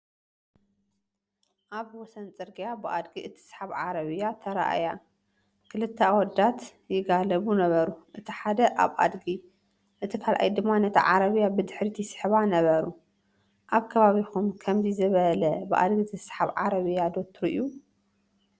ኣብ ወሰን ጽርግያ ብኣድጊ እትስሓብ ዓረብያ ተራእያ። ክልተ ኣወዳት ይጋልቡ ነበሩ፣ እቲ ሓደ ኣብ ኣድጊ እቲ ካልኣይ ድማ ነታ ዓረብያ ብድሕሪት ይስሕባ ነበሩ። ኣብ ከባቢኹም ከምዚ ዝበለ ብኣድጊ ዝስሓብ ዓረብያ ዶ ትሪኡ ?